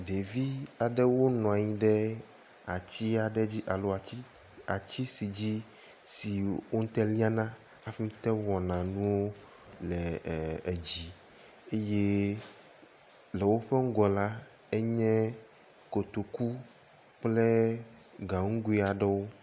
Ɖevi aɖewo nɔanyi ɖe atia ɖe dzi alo ati si dzi si wote ŋu liana hafi te ŋu wɔana nuwo le ee edzi eye le woƒe ŋgɔ la, enye kotoku kple ganugoe aɖewo.